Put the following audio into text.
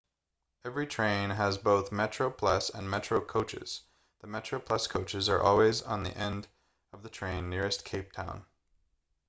every train has both metroplus and metro coaches the metroplus coaches are always on the end of the train nearest cape town